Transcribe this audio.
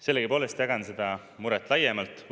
Sellegipoolest jagan seda muret laiemalt.